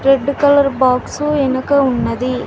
Red colour box వెనుక ఉన్నది.